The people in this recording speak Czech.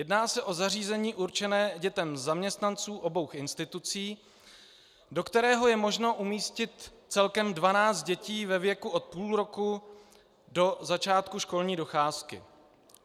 Jedná se o zařízení určené dětem zaměstnanců obou institucí, do kterého je možno umístit celkem 12 dětí ve věku od půl roku do začátku školní docházky.